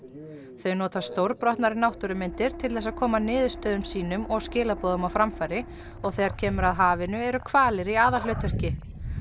þau nota stórbrotnar náttúrumyndir til þess að koma niðurstöðum sínum og skilaboðum á framfæri og þegar kemur að hafinu eru hvalir í aðalhlutverki